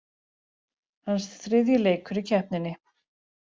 Hans þriðji leikur í keppninni